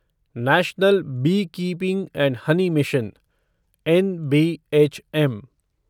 national beekeeping and honey mission NBHM